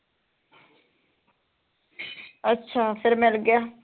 ਅੱਛਾ ਫਿਰ ਮਿਲ ਗਿਆ